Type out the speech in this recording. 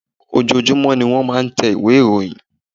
Ojoojumọ ní wọ́n máà ń tẹ ìwé ìròyìn.